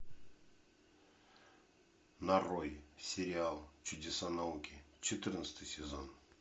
нарой сериал чудеса науки четырнадцатый сезон